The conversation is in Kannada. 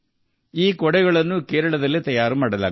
ಈ ಕೊಡೆಗಳನ್ನು ನಮ್ಮ ಕೇರಳದಲ್ಲಿ ತಯಾರಿಸಲಾಗುತ್ತದೆ